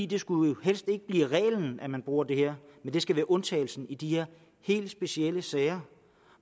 det skulle jo helst ikke blive reglen at man bruger det her men det skal være undtagelsen i de her helt specielle sager